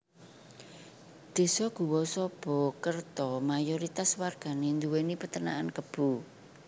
Désa Guwosobokerto mayoritas wargane nduweni Peternakan Kebo